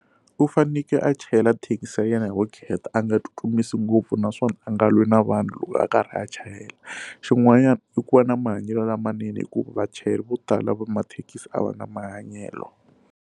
U fanekele a chayela thekisi ya yena hi vukheta a nga tsutsumisi ngopfu naswona a nga lwi na vanhu loko a karhi a chayela xin'wanyana i ku va na mahanyelo lamanene hikuva vachayeri vo tala va mathekisi a va na mahanyelo.